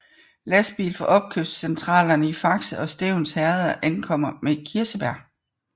Lastbiler fra opkøbscentralerne i Fakse og Stevns Herreder ankommer med kirsebær